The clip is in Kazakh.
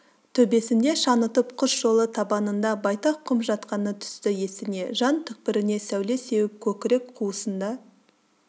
төбесінде шаңытып құс жолы табанында байтақ құм жатқаны түсті есіне жан түкпіріне сәуле сеуіп көкірек қуысында